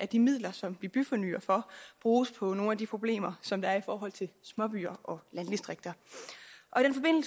de midler som vi byfornyer for bruges på nogle af de problemer som der er i forhold til småbyer og landdistrikter